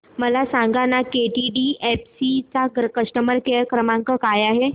मला सांगाना केटीडीएफसी चा कस्टमर केअर क्रमांक काय आहे